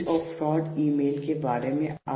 "